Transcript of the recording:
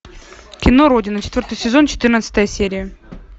кино родина четвертый сезон четырнадцатая серия